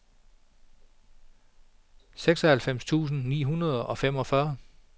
seksoghalvfems tusind ni hundrede og femogfyrre